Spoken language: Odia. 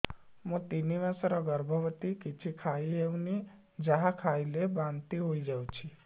ମୁଁ ତିନି ମାସର ଗର୍ଭବତୀ କିଛି ଖାଇ ହେଉନି ଯାହା ଖାଇଲେ ବାନ୍ତି ହୋଇଯାଉଛି